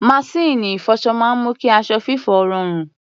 Maṣíìnì ìfọṣọ máa ń mú kí aṣọ fífọ̀ rọrùn.